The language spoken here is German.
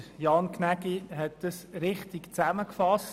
Jan Gnägi hat es richtig zusammengefasst: